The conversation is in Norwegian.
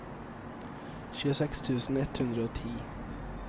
tjueseks tusen ett hundre og ti